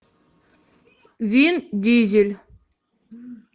вин дизель